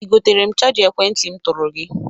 I gotere m chaja ekwentị m tụrụ gị?